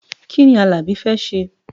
Kí ni Alabi fẹ́ ṣe?